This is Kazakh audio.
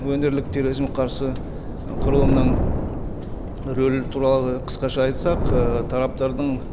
өңірлік терроризмге қарсы құрылымның рөлі туралы қысқаша айтсақ ы тараптардың